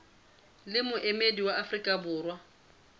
le moemedi wa afrika borwa